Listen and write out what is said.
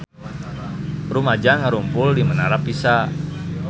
Rumaja ngarumpul di Menara Pisa